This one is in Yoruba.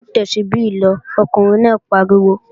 Mú Tẹ́súbí lọ, Ọkùnrin náà pariwo!